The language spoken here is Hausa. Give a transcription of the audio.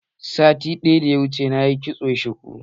Satin da ya wuce nayi kitson shuku.